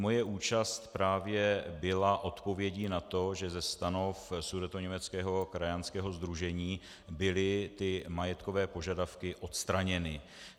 Moje účast právě byla odpovědí na to, že ze stanov sudetoněmeckého krajanského sdružení byly ty majetkové požadavky odstraněny.